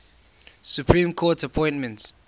supreme court appointments